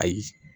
Ayi